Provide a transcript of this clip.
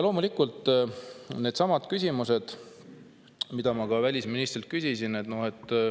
Loomulikult jäävad needsamad küsimused, mida ma ka välisministrilt küsisin.